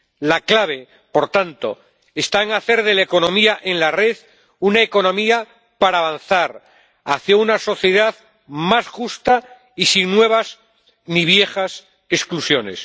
La clave, por tanto, está en hacer de la economía en la red una economía para avanzar hacia una sociedad más justa y sin nuevas ni viejas exclusiones.